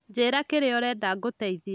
Njĩra kĩrĩa ũrenda ngũteithie